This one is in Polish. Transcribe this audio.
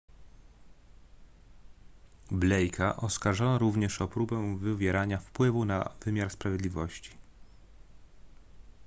blake'a oskarżono również o próbę wywierania wpływu na wymiar sprawiedliwości